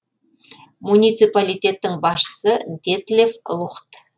муниципалитеттің басшысы детлеф лухт